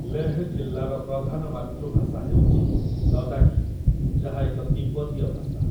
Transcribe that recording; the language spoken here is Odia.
ଲେହ୍ ଜିଲ୍ଲାର ପ୍ରଧାନ ମାତୃଭାଷା ହେଉଛି ଲଦାଖୀ, ଯାହା ଏକ ତିବ୍ଦତୀୟ ଭାଷା ।